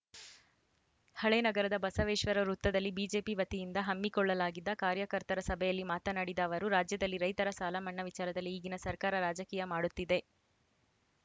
ಹಳೇ ನಗರದ ಬಸವೇಶ್ವರ ವೃತ್ತದಲ್ಲಿ ಬಿಜೆಪಿ ವತಿಯಿಂದ ಹಮ್ಮಿಕೊಳ್ಳಲಾಗಿದ್ದ ಕಾರ್ಯಕರ್ತರ ಸಭೆಯಲ್ಲಿ ಮಾತನಾಡಿದ ಅವರು ರಾಜ್ಯದಲ್ಲಿ ರೈತರ ಸಾಲಮನ್ನಾ ವಿಚಾರದಲ್ಲಿ ಈಗಿನ ಸರ್ಕಾರ ರಾಜಕೀಯ ಮಾಡುತ್ತಿದೆ